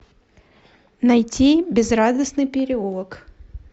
найти безрадостный переулок